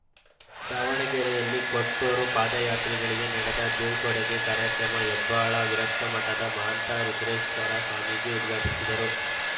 ದಾವಣಗೆರೆಯಲ್ಲಿ ಕೊಟ್ಟೂರು ಪಾದಯಾತ್ರಿಗಳಿಗೆ ನಡೆದ ಬೀಳ್ಕೊಡುಗೆ ಕಾರ್ಯಕ್ರಮ ಹೆಬ್ಬಾಳು ವಿರಕ್ತಮಠದ ಮಾಂತ ರುದ್ರೇಶ್ವರ ಸ್ವಾಮೀಜಿ ಉದ್ಘಾಟಿಸಿದರು